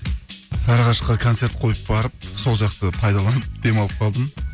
сарыағашқа концерт қойып барып сол жақты пайдаланып демалып қалдым